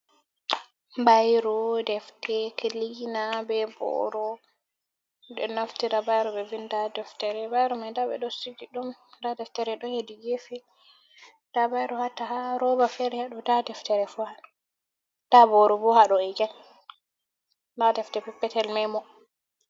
Bairo, defte, kilina be boro. ɗon naftira bairo ɓe vinda ha deftere. Bairo mai nda ɓe ɗo Sigi ɗum nda deftere ɗon hedi gefe, nda bairo hata ha roba fere haɗo nda deftere fu haɗo. Nda boro haɗo egein nda defte Perpetel memo.